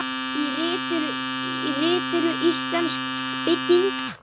Í ritinu Íslensk bygging